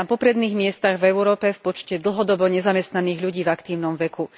Sme na popredných miestach v Európe v počte dlhodobo nezamestnaných ľudí v aktívnom veku.